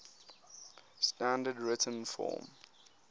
standard written form